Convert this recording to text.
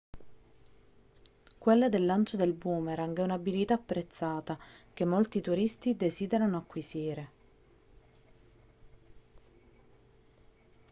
quella del lancio del boomerang è un'abilità apprezzata che molti turisti desiderano acquisire